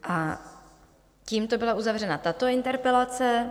A tímto byla uzavřena tato interpelace.